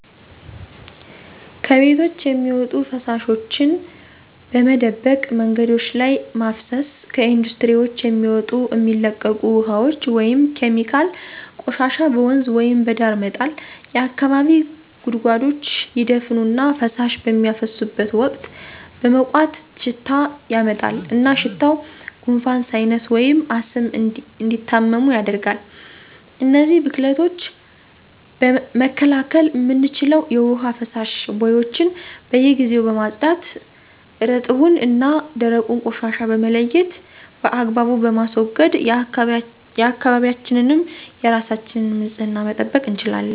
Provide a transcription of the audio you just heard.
ከቤቶች የሚወጡ ፍሳሾች በመደበቅ መንገዶች ላይ ማፍሰስ፣ ከኢንዱስትሪዎች የሚወጡ እሚለቀቁ ውሃዎች (ኬሚካል) ፣ ቆሻሻ በወንዝ ወይም በዳር መጣል፣ የአካባቢ ጉድጓዶች ይደፈኑ እና ፍሳሽ በሚያፈሱበት ወቅት በመቋት ሽታ ያመጣል እና ሽታዉ ጉንፋን፣ ሳይነስ ወይም አስም እንዲታመሙ ያደርጋል። እነዚን ብክለቶች መከላከል እምንችለዉ የዉሀ መፋሰሻ ቦዩችን በየጊዜዉ በማፅዳት እረጥቡን እና ደረቁን ቆሻሻ በመለየት በአግባቡ በማስወገድ የአካባቢያችንንም የራሳችንም ንፅህና መጠበቅ እንችላለን።